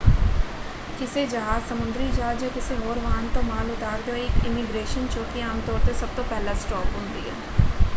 ਕਿਸੇ ਜਹਾਜ਼ ਸਮੁੰਦਰੀ ਜਹਾਜ਼ ਜਾਂ ਕਿਸੇ ਹੋਰ ਵਾਹਨ ਤੋਂ ਮਾਲ ਉਤਾਰਦੇ ਹੋਏ ਇੱਕ ਇਮੀਗ੍ਰੇਸ਼ਨ ਚੌਕੀ ਆਮ ਤੌਰ 'ਤੇ ਸਭ ਤੋਂ ਪਹਿਲਾ ਸਟਾਪ ਹੁੰਦੀ ਹੈ।